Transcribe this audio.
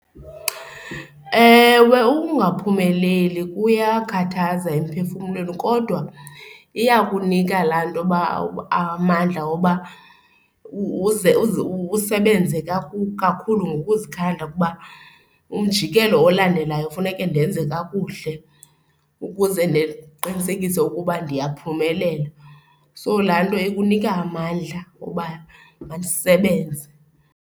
Ewe, ukungaphumeleli kuyakhathaza emphefumlweni kodwa iyakunika laa nto yoba amandla wokuba uze usebenze kakhulu ngokuzikhanda kuba umjikelo olandelayo kufuneke ndenze kakuhle ukuze ndiqinisekise ukuba ndiyaphumelela. So, laa nto ikunika amandla oba mandisebenze.